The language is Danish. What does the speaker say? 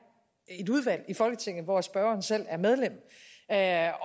et udvalg i folketinget hvor spørgeren selv er medlem jeg